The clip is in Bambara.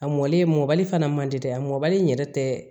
A mɔlen mɔbali fana man di dɛ a mɔbali in yɛrɛ tɛ